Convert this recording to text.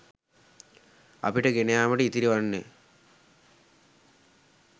අපට ගෙන යාමට ඉතිරි වන්නේ